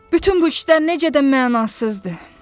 Bütün bu işlər necə də mənasızdı.